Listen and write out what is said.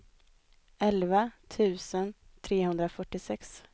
elva tusen trehundrafyrtiosex